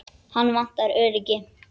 Hana vantar öryggi.